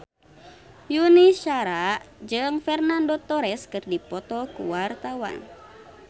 Yuni Shara jeung Fernando Torres keur dipoto ku wartawan